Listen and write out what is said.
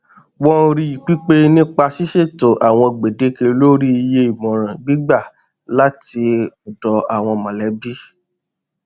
wọn rí pípé nípa ṣíṣètò àwọn gbèdéke lórí iye ìmọràn gbígbà láti ọdọ àwọn mọlẹbí